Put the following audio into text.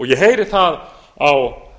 ég heyri það á